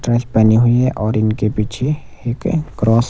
dress पहनी हुई है और इनके पीछे एक क्रॉस --